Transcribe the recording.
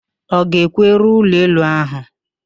Ọ ga-ekwu, ree ụlọelu áhụ̀!